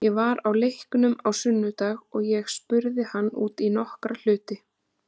Ég var á leiknum á sunnudag og ég spurði hann út í nokkra hluti.